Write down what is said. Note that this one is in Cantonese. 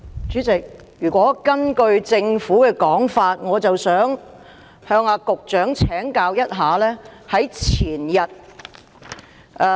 主席，根據政府的說法，我想向局長請教。